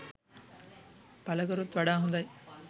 පලකරොත් වඩා හොඳයි.